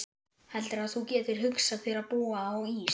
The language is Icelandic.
Heldurðu að þú getir hugsað þér að búa á Ís